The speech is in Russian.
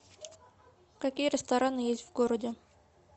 какие рестораны есть в городе